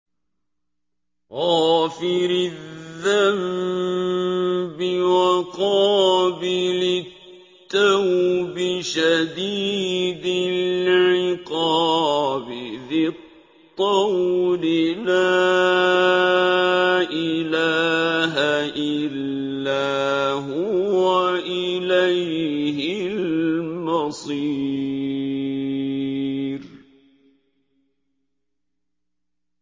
غَافِرِ الذَّنبِ وَقَابِلِ التَّوْبِ شَدِيدِ الْعِقَابِ ذِي الطَّوْلِ ۖ لَا إِلَٰهَ إِلَّا هُوَ ۖ إِلَيْهِ الْمَصِيرُ